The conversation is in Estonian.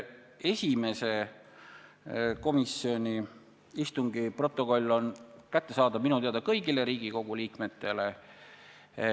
Esimese komisjoni istungi protokoll on kättesaadav minu teada kõigile Riigikogu liikmetele.